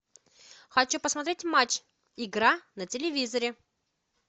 хочу посмотреть матч игра на телевизоре